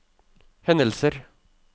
hendelser